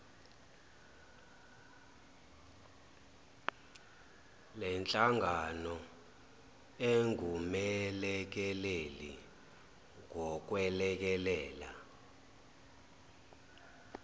lenhlangano engumelekeleli ngokwelekelela